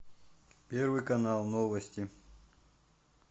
первый канал новости